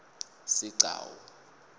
sigcawu